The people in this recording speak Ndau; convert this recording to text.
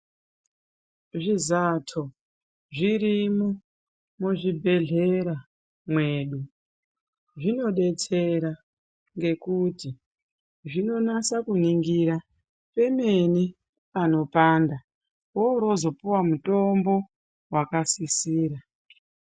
Zvizato zvirimwo muzvi bhedhlera mwedu zvinodetsera ngenguti zvinonasa kuningira pemene panopanda woroozo puwa mutombo wakasisira.